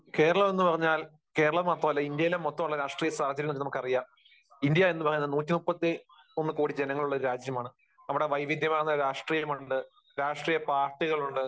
കേരളം എന്ന് പറഞ്ഞാൽ, കേരളം മാത്രമല്ല, ഇന്ത്യയിലെ മൊത്തമുള്ള രാഷ്ട്രീയ സാഹചര്യങ്ങൾ നമുക്കറിയാം. ഇന്ത്യ എന്ന് പറയുന്നത് 131 കോടി ജനങ്ങളുള്ള ഒരു രാജ്യമാണ്. അവിടെ വൈവിധ്യമാർന്ന രാഷ്ട്രീയമുണ്ട്, രാഷ്ട്രീയപ്പാർട്ടികളുണ്ട്.